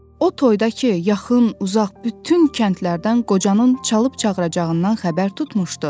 O toyda ki, yaxın, uzaq bütün kəndlərdən qocanın çalıb-çağıracağından xəbər tutmuşdu.